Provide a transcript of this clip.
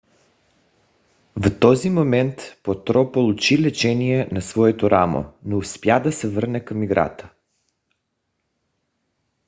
в този момент потро получи лечение на своето рамо но успя да се върне към играта